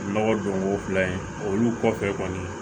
Nɔgɔ donko fila in olu kɔfɛ kɔni